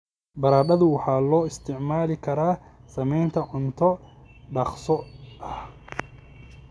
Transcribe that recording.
Baradhadu waxaa loo isticmaali karaa sameynta cunto dhaqso ah.